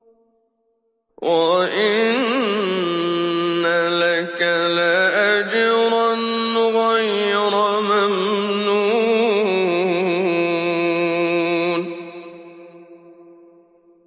وَإِنَّ لَكَ لَأَجْرًا غَيْرَ مَمْنُونٍ